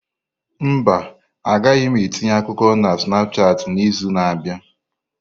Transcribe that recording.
Mba, agaghị m etinye akụkọ na Snapushat n'izu na-abịa.